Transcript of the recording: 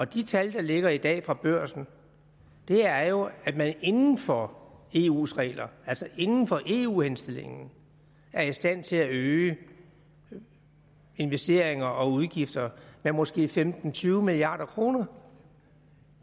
de tal der ligger i dag fra børsen er jo at man inden for eus regler altså inden for i eu henstillingen er i stand til at øge investeringer og udgifter med måske femten til tyve milliard kroner